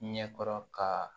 Ɲɛ kɔrɔ ka